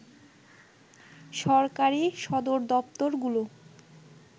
সরকারি সদরদপ্তরগুলো